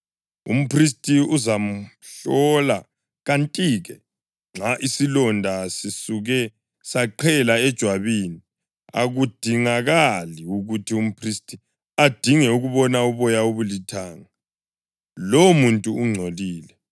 umphristi uzamhlola, kanti-ke nxa isilonda sisuke saqhela ejwabini, akudingakali ukuthi umphristi adinge ukubona uboya obulithanga; lowomuntu ungcolile.